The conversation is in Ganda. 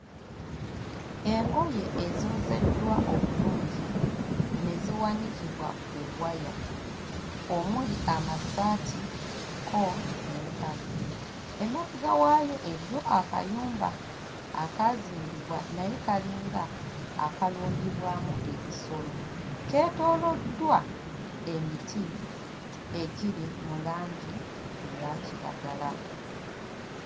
Engoye ezoozeddwa obulungi ne ziwanikibwa ku waya omuli amasaati kko n'empale. Emabega waayo eriyo akayumba akaazimbibwa naye kalinga akalundibwamu ebisolo; keetooloddwa emiti egiri mu langi eya kiragala.